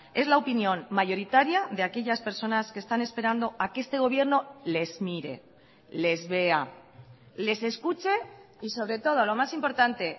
es la opinión mayoritaria de aquellas personas que están esperando a que este gobierno les mire les vea les escuche y sobre todo lo más importante